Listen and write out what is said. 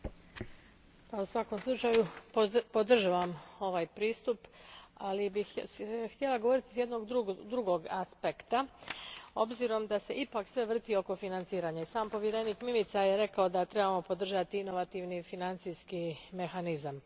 Gospodine predsjedniče, u svakom slučaju podržavam ovaj pristup, ali bih htjela govoriti s jednog drugog aspekta s obzirom da se ipak sve vrti oko financiranja i sam povjerenik Mimica je rekao da trebamo podržati inovativni financijski mehanizam.